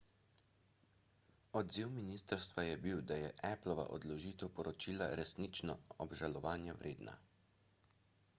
odziv ministrstva je bil da je applova odložitev poročila resnično obžalovanja vredna